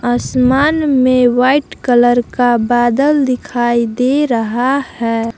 आसमान में white colour का बादल दिखाई दे रहा है।